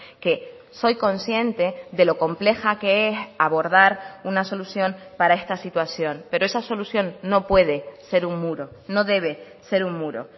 que soy consciente de lo compleja que es abordar una solución para esta situación pero esa solución no puede ser un muro no debe ser un muro